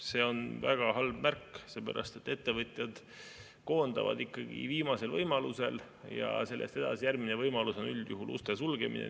See on väga halb märk, sellepärast et ettevõtjad koondavad ikkagi viimasel võimalusel ja sellest edasi järgmine võimalus on üldjuhul uste sulgemine.